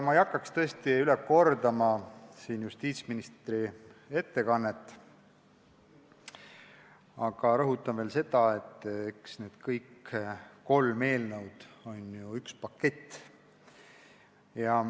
Ma ei hakka üle kordama justiitsministri ettekannet, aga rõhutan veel kord, et kõik need kolm eelnõu on üks pakett.